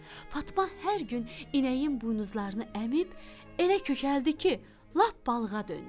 Fatma hər gün inəyin buynuzlarını əmib, elə kökəldi ki, lap balığa döndü.